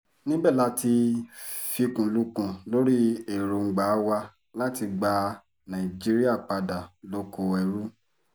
níbẹ̀ la ti fikùn lukùn lórí èròńgbà wa láti gba nàìjíríà padà lóko ẹrú